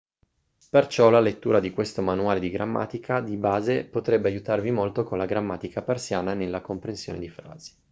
perciò la lettura di questo manuale di grammatica di base potrebbe aiutarvi molto con la grammatica persiana e nella comprensione di frasi